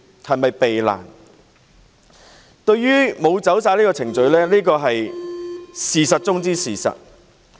政府並無依足程序辦事是事實中的事實。